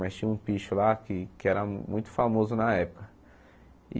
Mas tinha um picho lá que que era muito famoso na época.